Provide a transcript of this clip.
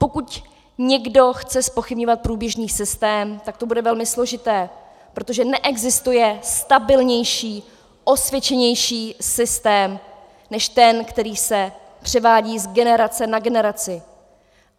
Pokud někdo chce zpochybňovat průběžný systém, tak to bude velmi složité, protože neexistuje stabilnější, osvědčenější systém než ten, který se převádí z generace na generaci.